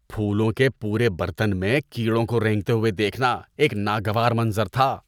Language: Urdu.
پھولوں کے پورے برتن میں کیڑوں کو رینگتے ہوئے دیکھنا ایک ناگوار منظر تھا۔